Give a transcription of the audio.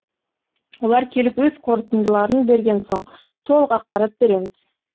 олар келіп өз қорытындыларын берген соң толық ақпарат береміз